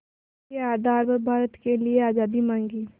के आधार पर भारत के लिए आज़ादी मांगी